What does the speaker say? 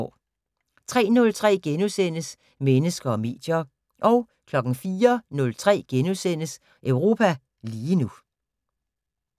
03:03: Mennesker og medier * 04:03: Europa lige nu *